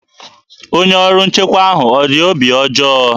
Onye ọrụ nchekwa ahụ ọ dị obi ọjọọ?